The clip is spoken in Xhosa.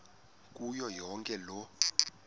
kuyo yonke loo